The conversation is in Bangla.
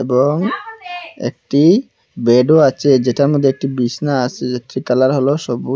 এবং একটি বেড ও আচে যেটা মদ্যে একটি বিসনা আসে যেটি কালার হল সবুজ।